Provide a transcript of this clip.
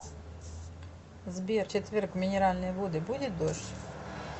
сбер в четверг в минеральные воды будет дождь